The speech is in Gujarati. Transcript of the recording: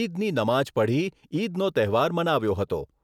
ઈદની નમાઝ પઢી ઈદનો તહેવાર મનાવ્યો હતો.